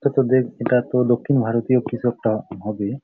এটাতে দেখ এটাতো দক্ষিণ ভারতীয় কিছু একটা হবে ।